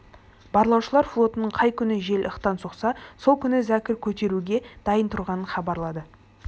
барлаушылар флотының қай күні жел ықтан соқса сол күні зәкір көтеруге дайын тұрғанын хабарлады